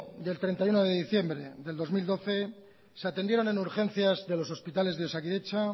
y el treinta y uno de diciembre del dos mil doce se atendieron en urgencias de los hospitales de osakidetza